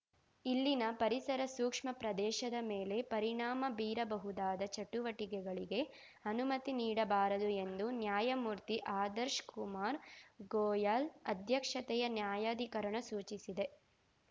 ಇಲ್ಲಿನ ಪರಿಸರಸೂಕ್ಷ್ಮ ಪ್ರದೇಶದ ಮೇಲೆ ಪರಿಣಾಮ ಬೀರಬಹುದಾದ ಚಟುವಟಿಕೆಗಳಿಗೆ ಅನುಮತಿ ನೀಡಬಾರದು ಎಂದು ನ್ಯಾಯಮೂರ್ತಿಆದರ್ಶ ಕುಮಾರ್‌ ಗೋಯಲ್‌ ಅಧ್ಯಕ್ಷತೆಯ ನ್ಯಾಯಾಧಿಕರಣ ಸೂಚಿಸಿದೆ